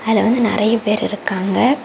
இதுல வந்து நறைய பேர் இருக்காங்க.